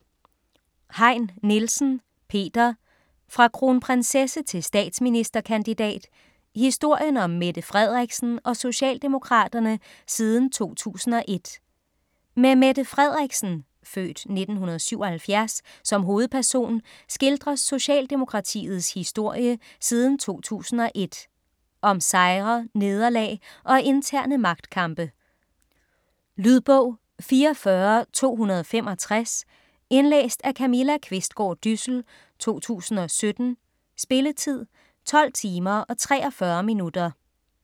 Heyn Nielsen, Peter: Fra kronprinsesse til statsministerkandidat: historien om Mette Frederiksen og Socialdemokraterne siden 2001 Med Mette Frederiksen (f. 1977) som hovedperson skildres Socialdemokratiets historie siden 2001. Om sejre, nederlag og interne magtkampe. Lydbog 44265 Indlæst af Camilla Qvistgaard Dyssel, 2017. Spilletid: 12 timer, 43 minutter.